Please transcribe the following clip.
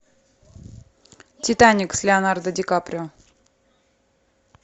титаник с леонардо ди каприо